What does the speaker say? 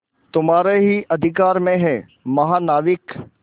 तुम्हारे ही अधिकार में है महानाविक